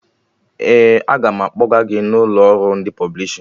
Ee, aga m akpọga gị n'ụlọ ọrụ ndị pọblishin